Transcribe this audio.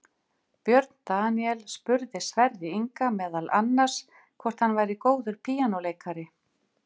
Björn Daníel spurði Sverri Inga meðal annars hvort hann væri góður píanóleikari.